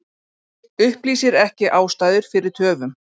Upplýsir ekki ástæður fyrir töfum